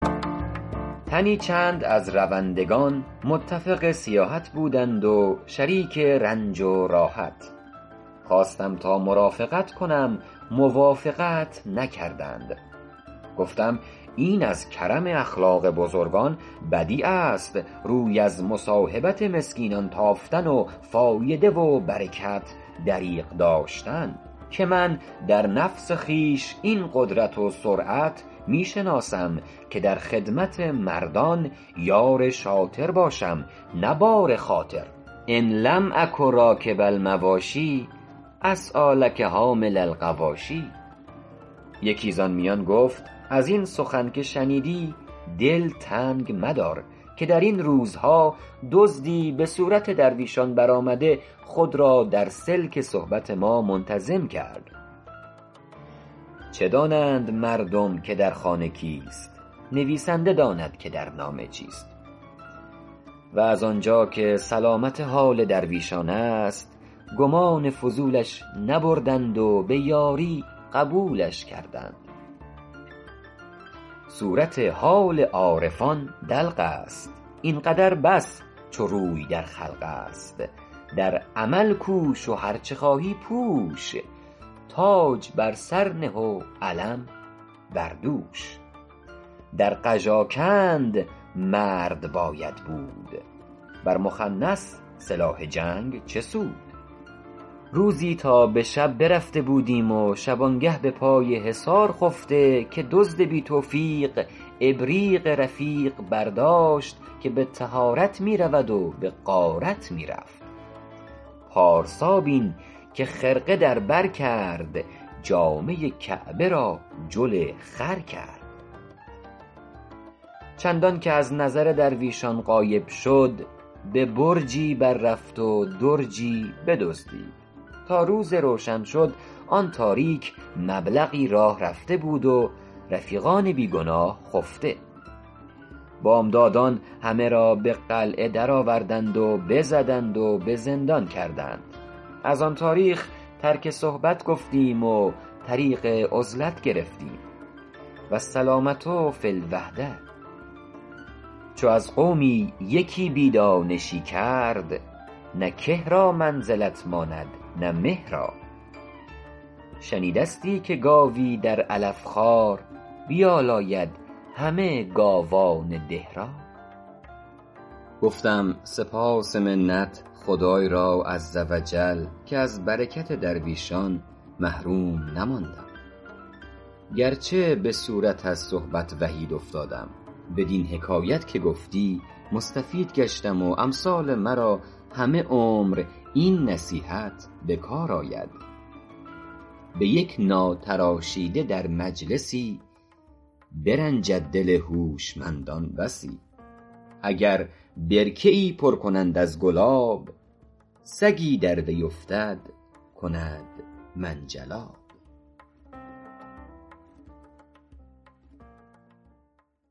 تنی چند از روندگان متفق سیاحت بودند و شریک رنج و راحت خواستم تا مرافقت کنم موافقت نکردند گفتم این از کرم اخلاق بزرگان بدیع است روی از مصاحبت مسکینان تافتن و فایده و برکت دریغ داشتن که من در نفس خویش این قدرت و سرعت می شناسم که در خدمت مردان یار شاطر باشم نه بار خاطر ان لم اکن راکب المواشی اسعیٰ لکم حامل الغواشی یکی زآن میان گفت از این سخن که شنیدی دل تنگ مدار که در این روزها دزدی به صورت درویشان برآمده خود را در سلک صحبت ما منتظم کرد چه دانند مردم که در خانه کیست نویسنده داند که در نامه چیست و از آنجا که سلامت حال درویشان است گمان فضولش نبردند و به یاری قبولش کردند صورت حال عارفان دلق است این قدر بس چو روی در خلق است در عمل کوش و هرچه خواهی پوش تاج بر سر نه و علم بر دوش ترک دنیا و شهوت است و هوس پارسایی نه ترک جامه و بس در قژاکند مرد باید بود بر مخنث سلاح جنگ چه سود روزی تا به شب رفته بودیم و شبانگه به پای حصار خفته که دزد بی توفیق ابریق رفیق برداشت که به طهارت می رود و به غارت می رفت پارسا بین که خرقه در بر کرد جامه کعبه را جل خر کرد چندان که از نظر درویشان غایب شد به برجی بر رفت و درجی بدزدید تا روز روشن شد آن تاریک مبلغی راه رفته بود و رفیقان بی گناه خفته بامدادان همه را به قلعه درآوردند و بزدند و به زندان کردند از آن تاریخ ترک صحبت گفتیم و طریق عزلت گرفتیم والسلامة فی الوحدة چو از قومی یکی بی دانشی کرد نه که را منزلت ماند نه مه را شنیدستی که گاوی در علف خوار بیالاید همه گاوان ده را گفتم سپاس و منت خدای را عزوجل که از برکت درویشان محروم نماندم گرچه به صورت از صحبت وحید افتادم بدین حکایت که گفتی مستفید گشتم و امثال مرا همه عمر این نصیحت به کار آید به یک ناتراشیده در مجلسی برنجد دل هوشمندان بسی اگر برکه ای پر کنند از گلاب سگی در وی افتد کند منجلاب